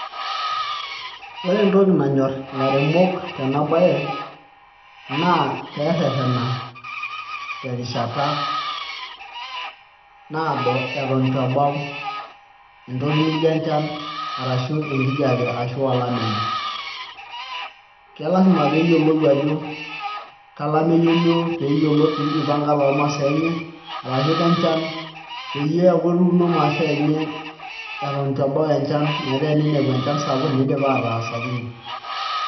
Ore entoki nanyorr ilairemok tena baye naa pee ererena terishata naado eton itu ebau entoki nijio enchan arashu enkijiape ashu olameyu kelasima pee eyiolou ajo ke olameyu olioo pee ijipanga toomasaa enye arashu kenchan peyie eeku etuuno imasaa enye eton itu ebau enchan, metaa eninepu enchan sapuk ninepu idipa ataa sapukin.